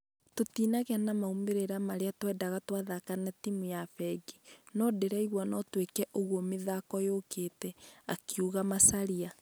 Tũtinagĩa maumerera marĩa twĩndaga twathaka na timũ ya fengi ,nũ ndĩraigua nũ twĩke ũguo mĩthako yũkĩte,"akĩuga macharia.